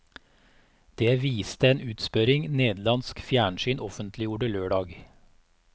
Det viste en utspørring nederlandsk fjernsyn offentliggjorde lørdag.